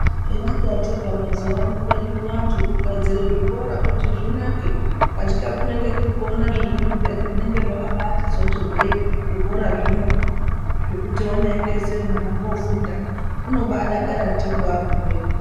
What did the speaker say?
Hino katika mazuva ano kugadzira zvikora kuti zvinake katika zvinenge zviri kuona zviro piyani zvinenge zvakabasizoti zvikora zvino zvekuti zvinosisa kuti vana vofunda vanobadakara ndiko vagumeyo.